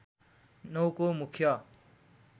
९ को मुख्य